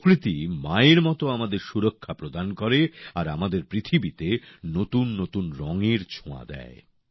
প্রকৃতি মায়ের মত আমাদের সুরক্ষা প্রদান করে আর আমাদের পৃথিবীতে নতুন নতুন রংয়ের ছোঁয়া দেয়